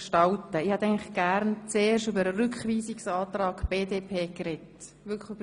Zuerst möchte ich, dass über den Rückweisungsantrag der BDP gesprochen wird.